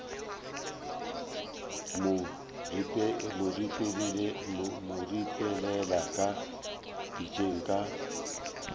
mo ripelela ka pitšeng ka